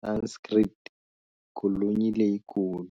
Sanskrit-"Golonyi leyi kulu".